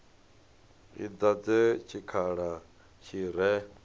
i dadze tshikhala tshi re